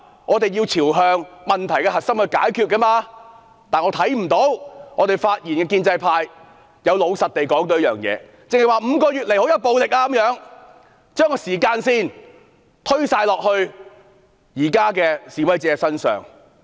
我們要朝問題核心來解決，但我看不到發言的建制派議員有老實地說出這件事，只是說5個月以來出現很多暴力，將時間線全部推到現在的示威者身上。